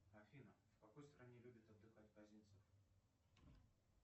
афина в какой стране любит отдыхать козинцев